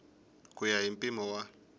ku ya hi mpimo wa